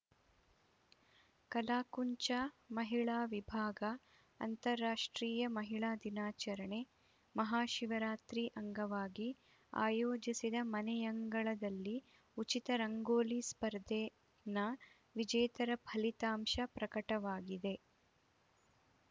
ಕಲಾಕುಂಚ ಮಹಿಳಾ ವಿಭಾಗ ಅಂತರಾಷ್ಟ್ರೀಯ ಮಹಿಳಾ ದಿನಾಚರಣೆ ಮಹಾಶಿವರಾತ್ರಿ ಅಂಗವಾಗಿ ಆಯೋಜಿಸಿದ ಮನೆಯಂಗಳದಲ್ಲಿ ಉಚಿತ ರಂಗೋಲಿ ಸ್ಪರ್ಧೆ ನ ವಿಜೇತರ ಫಲಿತಾಂಶ ಪ್ರಕಟವಾಗಿದೆ